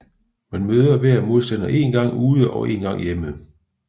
Man møder hver modstander én gang ude og én gang hjemme